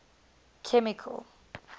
chemical